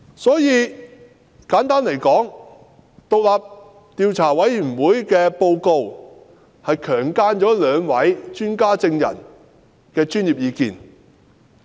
所以，簡單而言，委員會的報告是"強姦"了兩位專家證人的專業意見。